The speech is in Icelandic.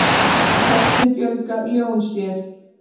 Hvernig fjölga ljón sér?